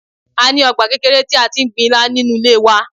A ní ọgbà kékeré tí a ti ń gbin Ilá nínú ilé wa.